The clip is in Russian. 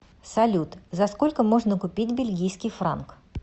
салют за сколько можно купить бельгийский франк